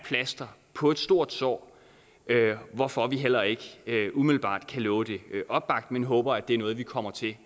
plaster på et stort sår hvorfor vi heller ikke umiddelbart kan love det opbakning håber at det er noget vi kommer til at